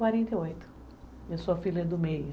quarenta e oito. Eu sou a filha é do meio.